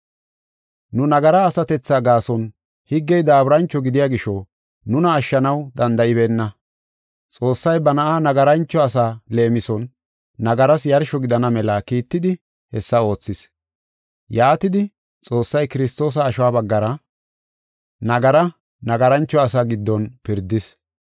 Nu nagara asatethaa gaason, higgey daaburancho gidiya gisho nuna ashshanaw danda7ibeenna. Xoossay ba na7aa nagarancho asa leemison nagaras yarsho gidana mela kiittidi hessa oothis. Yaatidi, Xoossay Kiristoosa ashuwa baggara nagara, nagarancho asa giddon pirdis.